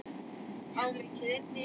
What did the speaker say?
Á mikið inni.